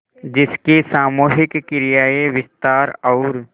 जिसकी सामूहिक क्रियाएँ विस्तार और